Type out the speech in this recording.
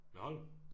Med Holm